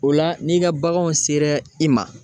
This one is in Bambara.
O la n'i ka baganw sera i ma